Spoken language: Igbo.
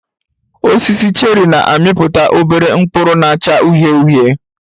Osisi cheri na-amịpụta obere mkpụrụ na-acha uhie uhie